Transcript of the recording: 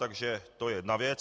Takže to je jedna věc.